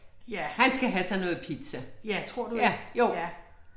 Ja. Ja tror du ikke? ja